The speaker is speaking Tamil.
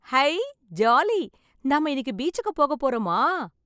ஐ ஜாலி நம்ம இன்னைக்கு பீச்சுக்கு போ போறோமா